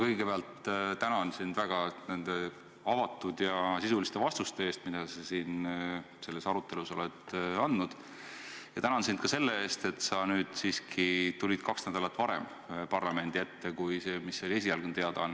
Kõigepealt ma tänan sind nende avatud ja sisuliste vastuste eest, mida sa selles arutelus oled andnud, ja tänan sind ka selle eest, et sa tulid parlamendi ette siiski kaks nädalat varem, kui esialgses teadaandes öeldi.